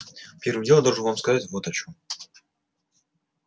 первым делом я должен вам сказать вот о чем